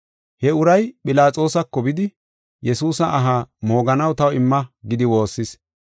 He uray Philaxoosako bidi, Yesuusa aha mooganaw taw imma gidi woossis.